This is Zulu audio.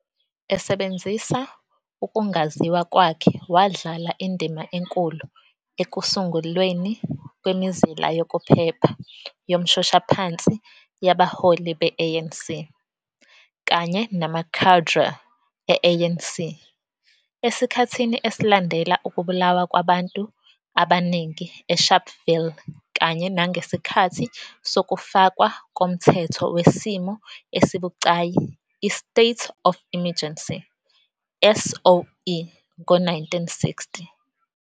Esebenzisa ukungaziwa kwakhe, wadlala indima enkulu ekusungulweni kwemizila yokuphepha yomshoshaphansi yabaholi be- ANC kanye nama-cadre e- ANC esikhathini esilandela ukubulawa kwabantu abaningi eSharpeville kanye nangesikhathi sokufakwa komthetho wesimo esibucayi i-State of Emergency, SOE ngo-1960.